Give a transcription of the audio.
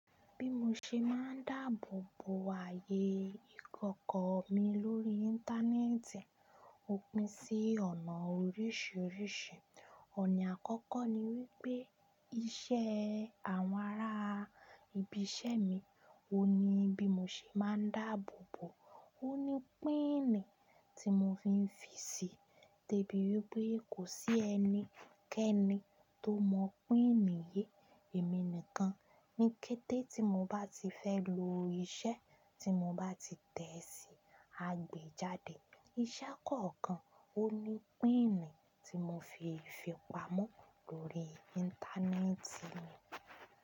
Bí mo ṣe máa ń dáàbò bo ayé ìkọ̀kọ̀ mi lórí Íńtánẹ́ẹ̀tì, ó pín sí ọ̀nà oríṣiríṣi. Ọ̀nà àkọ́kọ́ ni wípé iṣẹ́ àwọn ará ibi iṣẹ́ mi, ó ni bí mo ṣe máa ń dáàbò bo, ó ní píìnì tí mo fi ń fi síi, debi wípé kò sí ẹni kẹ́ẹ́ni tó mọ̀ píìnì yí, èmi nìkan. Ni kété tí mo bá ti fẹ́ lo iṣẹ́ tí mo bá ti tẹ̀ sí agbèjáde, iṣẹ́ kọ̀ọ̀kan ó ní píìnì tí mo fi ń fipamọ́ lórí Íńtánẹ́ẹ̀tì mi.